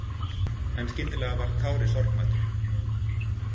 En skyndilega varð Kári sorgmæddur.